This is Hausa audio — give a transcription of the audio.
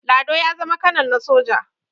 lado ya zama kanal na soja